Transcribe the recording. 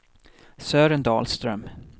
Sören Dahlström